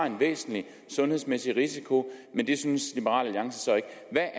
en væsentlig sundhedsmæssig risiko men det synes liberal alliance så ikke